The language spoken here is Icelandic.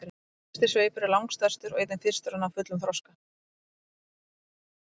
efsti sveipur er langstærstur og einnig fyrstur að ná fullum þroska